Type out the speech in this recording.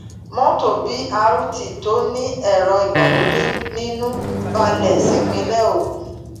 mọtò b rt tó ní ẹrọ ìgbàlódé nínú balẹ sípínlẹ ogun